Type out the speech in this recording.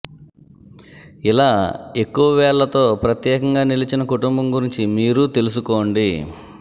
ఇలా ఎక్కువ వేళ్లతో ప్రత్యేకంగా నిలిచిన కుటుంబం గురించి మీరూ తెలుసుకోండి